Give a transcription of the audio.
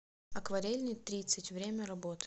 акварельный тридцать время работы